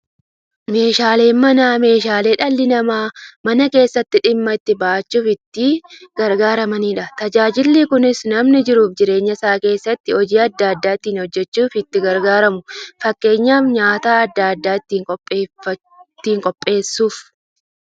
Meeshaaleen Manaa meeshaalee dhalli namaa Mana keessatti dhimma itti ba'achuuf itti gargaaramaniidha. Tajaajilli kunis, namni jiruuf jireenya isaa keessatti hojii adda adda ittiin hojjachuuf itti gargaaramu. Fakkeenyaf, nyaata adda addaa ittiin qopheessuuf.